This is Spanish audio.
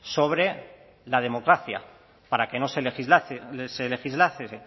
sobre la democracia para que no se legislase